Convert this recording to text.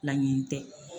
Laɲini tɛ